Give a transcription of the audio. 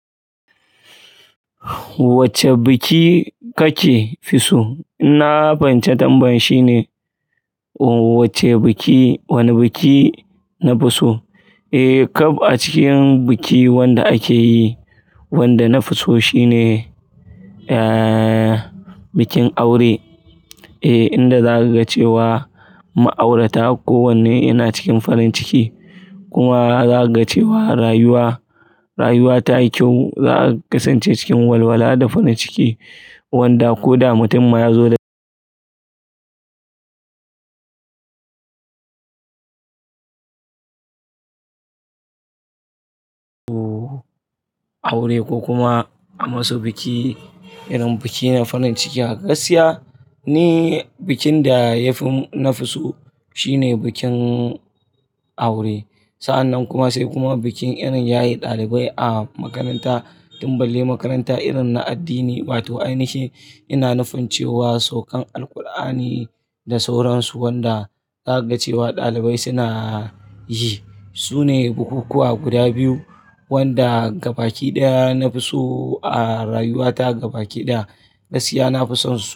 Wacce biki kake fi so? Ina fahimce tambayan shine. Ooh wacce biki, wani biki na fi so? Eh, kaf a cikin biki wanda akeyi, wanda na fi so shine, ehhh, bikin aure. Eh, inda za a ga cewa mu aurata ko wanne yana cikin farin ciki kuma za a ga cewa rayuwa, rayuwa tayi kyau. Za a kasance cikin walwala da farin ciki wanda ko da mutum ma ya zo da aure ko kuma a masu biki, irin bikin na farin ciki haka gaskiya ni bikin da yafi na fi so shine bikin aure. Sa'annan kuma sai kuma bikin irin yaye ɗalibai a makaranta, tun balle makaranta irin na addini. Ba to ainihi ina nufin cewa saukan Alqur'ani da sauransu wanda zaka ga cewa ɗalibai suna yi. Sune bukukuwa guda biyu wanda gabaki ɗaya na fi so a rayuwa ta. Gabaki ɗaya gaskiya na fi son su.